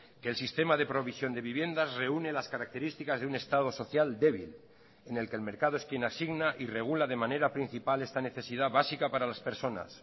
que el sistema de provisión de viviendas reúne las características de un estado social débil en el que el mercado es quien asigna y regula de manera principal esta necesidad básica para las personas